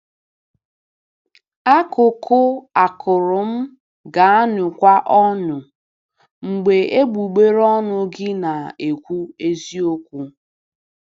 Akụkụ akụrụ m ga-aṅụkwa ọṅụ mgbe egbugbere ọnụ gị na-ekwu eziokwu.”